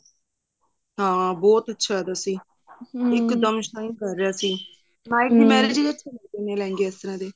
ਹਾਂ ਬਹੁਤ ਅੱਛਾ ਸੀ ਕਰ ਰਿਹਾ ਸੀ night ਚ ਹੁੰਦੇ ਨੇ ਲਹਿੰਗੇ ਇਸ ਤਰ੍ਹਾਂ ਦੇ